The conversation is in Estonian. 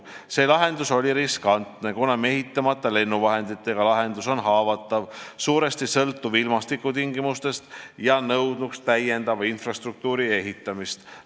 See lahendus oli riskantne, kuna mehitamata lennuvahenditega lahendus on haavatav, suuresti sõltuv ilmastikutingimustest ja nõudnuks täiendava infrastruktuuri ehitamist.